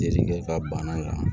Delili kɛ ka bana kan